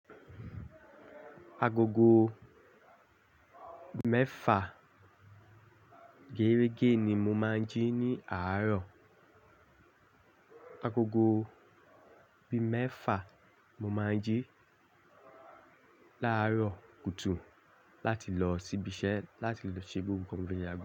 Agogo mẹ́fà géérégé ni mo máa ń jí ní àárọ̀. Agogo bí mẹ́fà mo máa ń jí láàárọ̀ kùtù láti lọ sí ibi iṣẹ́ láti ṣe gbogbo.